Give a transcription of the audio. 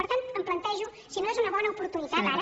per tant em plantejo si no és una bona oportunitat ara